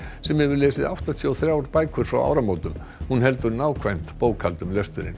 sem hefur lesið áttatíu og þrjár bækur frá áramótum hún heldur nákvæmt bókhald um lesturinn